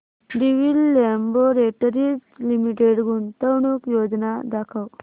Divi's Laboratories Limited गुंतवणूक योजना दाखव